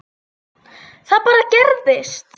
Það bara gerist.